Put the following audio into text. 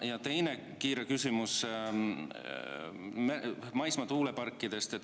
Ja teine kiire küsimus on maismaatuuleparkide kohta.